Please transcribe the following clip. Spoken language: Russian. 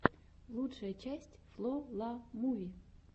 лучшая часть фло ла муви